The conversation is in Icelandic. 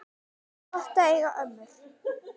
Gott að eiga ömmur!